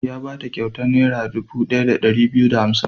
Ya ba ta kyautar Naira dubu ɗaya da ɗari biyu da hamsin.